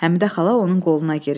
Həmidə xala onun qoluna girir.